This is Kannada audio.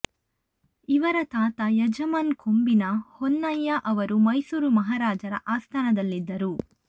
ಇವರ ತಾತ ಯಜಮಾನ್ ಕೊಂಬಿನ ಹೊನ್ನಯ್ಯ ಅವರು ಮೈಸೂರು ಮಹಾರಾಜರ ಆಸ್ಥಾನದಲ್ಲಿದ್ದವರು